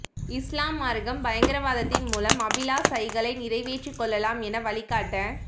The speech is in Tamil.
இஸ்லாம் மார்க்கம் பயங்கரவாதத்தின் மூலம் அபிலாசைகளை நிறைவேற்றிக் கொள்ளலாம் என வழிகாட்ட